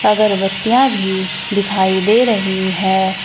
अगरबत्तियां भी दिखाई दे रही है।